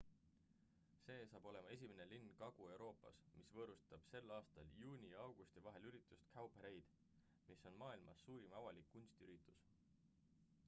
see saab olema esimene linn kagu-euroopas mis võõrustab sel aastal juuni ja augusti vahel üritust cowparade mis on maailmas suurim avalik kunstiüritus